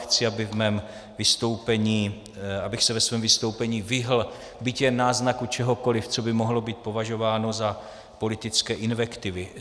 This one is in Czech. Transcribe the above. Chci, abych se ve svém vystoupení vyhnul byť jen náznaku čehokoliv, co by mohlo být považováno za politické invektivy.